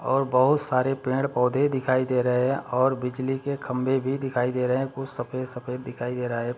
ओर बहुत सारे पेड़ पौधे दिखाई दे रहे है और बिजली के खंभे भी दिखाई दे रहे है कुछ सफेद- सफेद दिखाई दे रहा हैं।